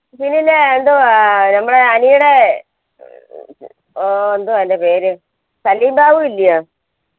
പിന്നില്ലേ എന്തുവാ നമ്മടെ അനിയുടെ ഓ എന്തുവാ അതിന്റെ പേര് സലിംബാബു ഇല്ല്യോ